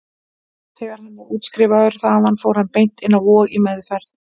Þegar hann var útskrifaður þaðan fór hann beint inn á Vog, í meðferð.